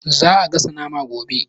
Za'a gasa naman gobe